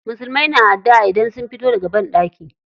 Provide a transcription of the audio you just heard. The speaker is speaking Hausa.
Musulmai na adduʼa idan sun fito daga banɗaki.